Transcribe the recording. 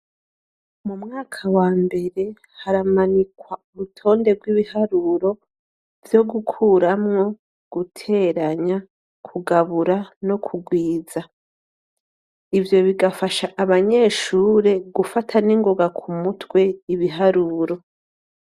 Mu mwaka wa mbere haramanikwa urutonde rw'ibiharuro vyo gukuramwo, guteranya , kugabura no kugwiza. Ivyo bigafasha abanyeshure, gufata n'ingoga ku mutwe ibiharuro.